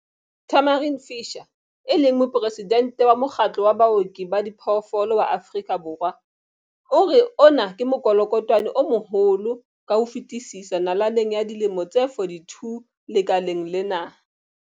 Tamarin Fisher, e leng Moporesidente wa Mokgatlo wa Baoki ba Diphoofolo wa Afrika Borwa, o re ona ke mokolokotwane o moholo ka ho fetisisa nalaneng ya dilemo tse 42 lekaleng lena.